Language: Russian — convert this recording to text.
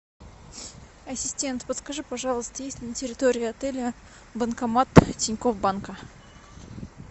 ассистент подскажи пожалуйста есть ли на территории отеля банкомат тинькофф банка